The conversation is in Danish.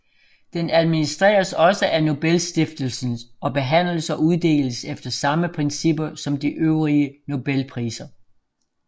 Den administreres også af Nobelstiftelsen og behandles og uddeles efter samme principper som de øvrige Nobelpriser